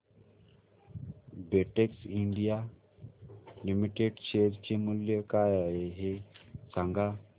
Betex India limited share चे मूल्य काय आहे हे सांगा